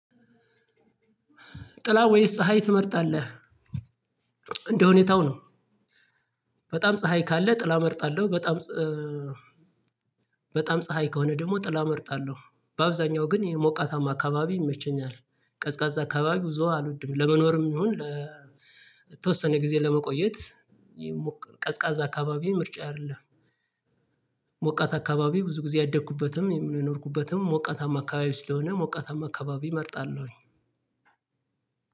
ጥላ ወይስ ፀሀይ ትመርጣለህ? እንደሁኔታው ነው በጣም ፀሀይ ካለ ጥላ እመርጣለሁ በጣም በጣም ፀሀይ ከሆነ ደግሞ ጥላ እመርጣለሁ በአብዛኛው ግን ይሄ ሞቃታማ አካባቢ ይመቸኛል ቀዝቃዛ አካባቢ ብዙ አልወድም ለመኖርም ይሁን ለተወሰነ ጊዜ ለመቆየት ቀዝቃዛ አካባቢ ምርጫ አይደለም። ሞቃት አካባቢ ብዙ ጊዜ ያደኩበትም የኖርኩበትም ሞቃታማ አካባቢው ስለሆነ ሞቃታማ አካባቢ እመርጣለሁኝ።